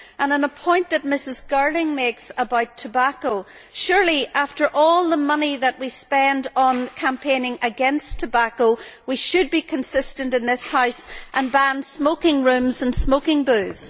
On a point that Mrs Girling makes about tobacco, surely after all the money that we spend on campaigning against tobacco, we should be consistent in this House and ban smoking rooms and smoking booths.